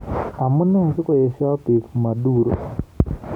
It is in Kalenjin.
Amune sikoeshoi bik Maduro?